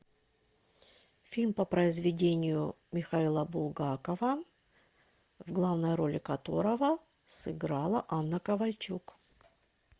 фильм по произведению михаила булгакова в главной роли которого сыграла анна ковальчук